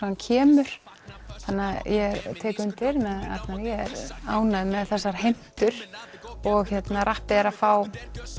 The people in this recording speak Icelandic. hann kemur þannig ég tek undir með Arnari er ánægð með þessar heimtur og rappið er að fá